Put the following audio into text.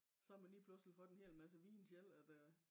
Så man lige pludseligt fået en hel masse viden selv at øh